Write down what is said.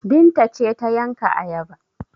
Binta ce ta yanka ayaba?